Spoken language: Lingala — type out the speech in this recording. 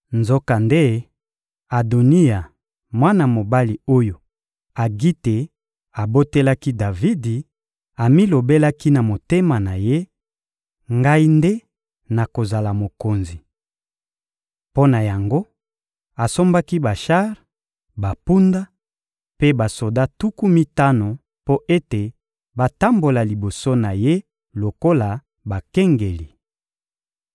Nzokande, Adoniya, mwana mobali oyo Agite abotelaki Davidi, amilobelaki na motema na ye: «Ngai nde nakozala mokonzi!» Mpo na yango, asombaki bashar, bampunda; mpe basoda tuku mitano mpo ete batambola liboso na ye lokola bakengeli.